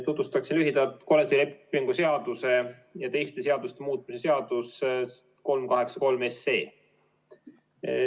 Tutvustan lühidalt kollektiivlepingu seaduse ja teiste seaduste muutmise seaduse eelnõu 383.